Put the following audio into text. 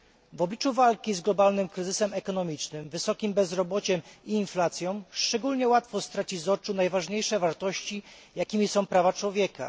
W obliczu walki z globalnym kryzysem ekonomicznym, wysokim bezrobociem i inflacją szczególnie łatwo stracić z oczu najważniejsze wartości, jakimi są prawa człowieka.